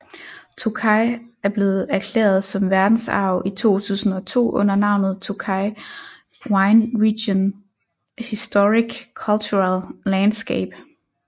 Tokaj er blevet erklæret som verdensarv i 2002 under navnet Tokaj Wine Region Historic Cultural Landscape